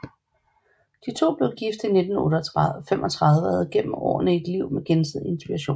De to blev gift i 1935 og havde gennem årene et liv med gensidig inspiration